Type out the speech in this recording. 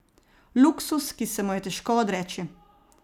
Luksuz, ki se mu je težko odreči.